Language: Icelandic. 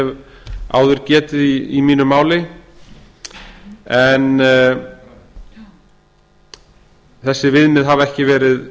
hef áður getið í mínu máli en þessi viðmið hafa ekki verið